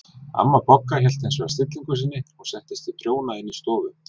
Amma Bogga hélt hins vegar stillingu sinni og settist við prjóna inn í stofu.